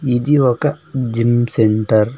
ఇది ఒక gym centre .